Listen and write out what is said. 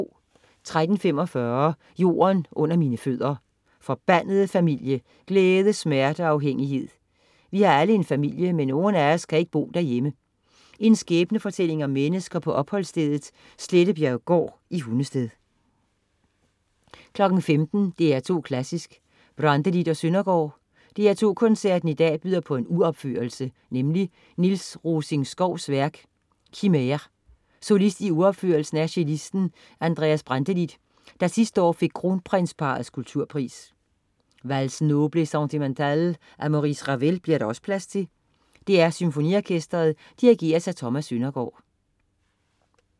13.45 Jorden under mine fødder. Forbandede familie, glæde, smerte og afhængighed. Vi har alle en familie, men nogen af os kan ikke bo derhjemme. En skæbnefortælling om mennesker på opholdsstedet Slettebjerggård i Hundested. 15.00 DR2 Klassisk: Brantelid og Søndergaard. DR2 koncerten i dag byder på en uropførelse. Nemlig Niels Rosing-Schouws værk "Chimere". Solist i uropførelsen er cellisten Andreas Brantelid, der sidste år fik Kronprinsparrets Kulturpris. "Valses Nobles et Sentimentales" af Maurice Ravel bliver der også plads til. DR SymfoniOrkestret dirigeres af Thomas Søndergaard